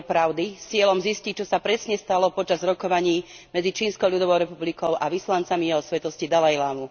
Výbor pravdy s cieľom zistiť, čo sa presne stalo počas rokovaní medzi Čínskou ľudovou republikou a vyslancami Jeho Svätosti dalajlámu.